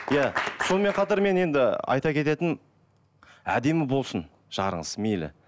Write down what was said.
иә сонымен қатар мен енді айта кететінім әдемі болсын жарыңыз мейлі